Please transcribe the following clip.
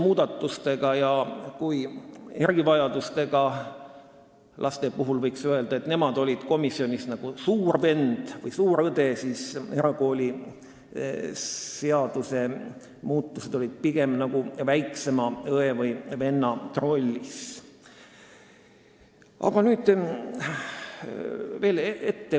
Kui erivajadustega lapsi käsitlevate seadusmuudatuste kohta võiks öelda, et need olid komisjonis suure venna või õe rollis, siis erakooliseaduse muudatused olid pigem nagu väiksema õe või venna rollis.